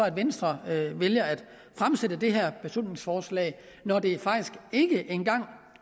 at venstre vælger at fremsætte det her beslutningsforslag når det faktisk ikke engang